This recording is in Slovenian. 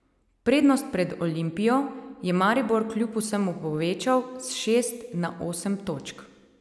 Prednost pred Olimpijo je Maribor kljub vsemu povečal s šest na osem točk.